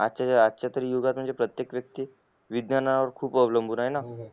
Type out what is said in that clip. आज च्या तरी युगात म्हणजे तरी प्रत्येक युगात विज्ञानावर खूप अवलंबून आहे ना